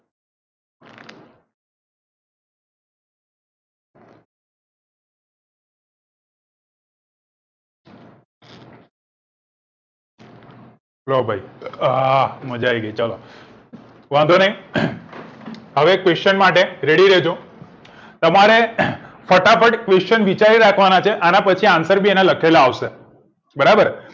જો ભાઈ અ મજા આયી ગઈ ચલો વાંધો નહિ હવે question માટે ready રેજો તમારે ફટાફટ question વિચારી રાખવા ના છે આના પછી answer બી એના લખેલા આવશે બરાબર